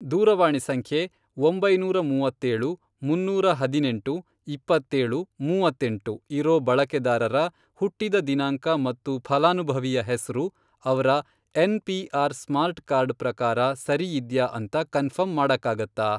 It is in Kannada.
ದೂರವಾಣಿ ಸಂಖ್ಯೆ, ಒಂಬೈನೂರ ಮೂವತ್ತೇಳು, ಮುನ್ನೂರ ಹದಿನೆಂಟು, ಇಪ್ಪತ್ತೇಳು, ಮೂವತ್ತೆಂಟು, ಇರೋ ಬಳಕೆದಾರರ ಹುಟ್ಟಿದ ದಿನಾಂಕ ಮತ್ತು ಫಲಾನುಭವಿಯ ಹೆಸ್ರು ಅವ್ರ ಎನ್.ಪಿ.ಆರ್. ಸ್ಮಾರ್ಟ್ ಕಾರ್ಡ್ ಪ್ರಕಾರ ಸರಿಯಿದ್ಯಾ ಅಂತ ಕನ್ಫರ್ಮ್ ಮಾಡಕ್ಕಾಗತ್ತಾ?